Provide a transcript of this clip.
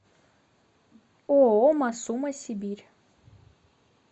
ооо масума сибирь